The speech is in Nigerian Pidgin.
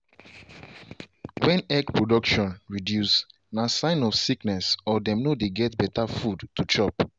when egg production reduce na sign of sickness or dem no dey get better food to chop.